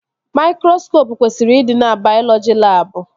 Maikroskopụ kwesịrị ịdị na baiọlọji labụ